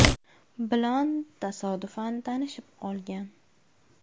bilan tasodifan tanishib qolgan.